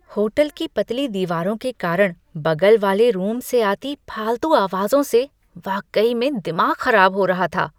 Hotel की पतली दीवारों के कारण बगल वाले रूम से आती फालतू आवाजों से वाकई में दिमाग खराब हो रहा था।